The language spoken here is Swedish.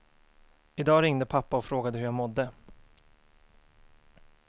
I dag ringde pappa och frågade hur jag mådde.